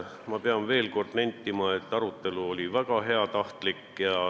Ma pean veel kord nentima, et arutelu oli väga heatahtlik.